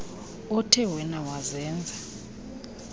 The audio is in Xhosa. othe wena wazenza